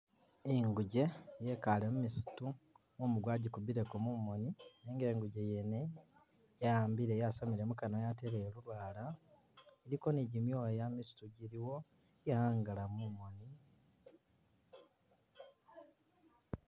Inguge yikale mwisitu mumu gwagikubileko mumoni nenga inguge yene yahambile yasamile mukanwa yateleyo lulwala iliko ni gimyoya misiitu giliwo yahangala mumoni.